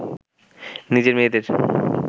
নিজের মেয়েদের